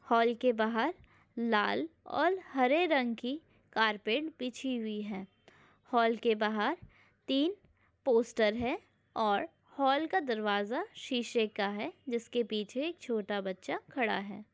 Hall के बाहर लाल और हरे रंग की कार्पेट बिछी हुई है हॉल के बाहर तीन पोस्टर है और हॉल का दरवाजा शीशे का है जिसके पीछे एक छोटा बच्चा खड़ा है।